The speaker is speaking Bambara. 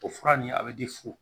O fura nin a bɛ di fu